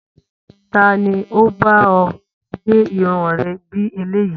Ta ni ó bá ọ gẹ irun rẹ bí eléyìí?